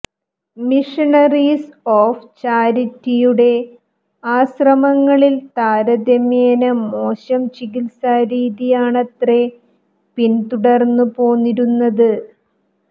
missionaries of ചാരിറ്റിയുടെ ആശ്രമങ്ങളിൽ താരതമ്യേന മോശം ചികിത്സാരീതിയാണത്രെ പിന്തുടർന്നു പോന്നിരുന്നത്